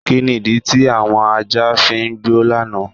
Kíni ídí ti awọn ajá fí n gbọ lánà?